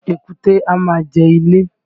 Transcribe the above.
Èkúté a máa ja ilé